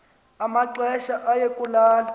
amaxesha aye kulala